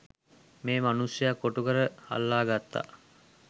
මේ මනුස්සයා කොටුකර අල්ලා ගත්තා.